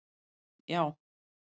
Ok, já?